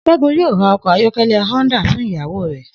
S̩é̩gun yóò ra o̩kò̩ ayó̩ké̩lé̩ Honda fún ìyàwó rè̩